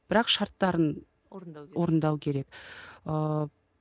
бірақ шарттарын орындау керек орындау керек ыыы